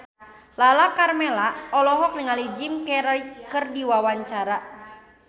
Lala Karmela olohok ningali Jim Carey keur diwawancara